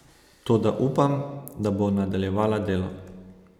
Toda upam, da bo nadaljevala delo.